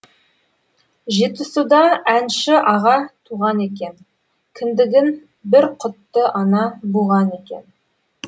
жетісуда әнші аға туған екен кіндігін бір құтты ана буған екен